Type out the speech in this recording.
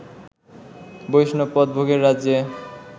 বৈষ্ণব পদ ভোগের রাজ্যে